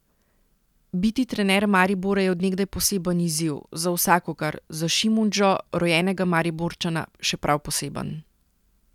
Biti trener Maribora je od nekdaj poseben izziv, za vsakogar, za Šimundžo, rojenega Mariborčana, še prav poseben.